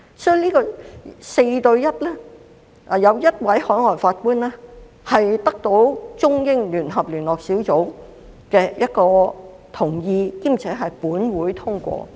所以，按 4：1 的比例委任海外法官的安排是得到中英聯合聯絡小組的同意，兼且是本會通過的。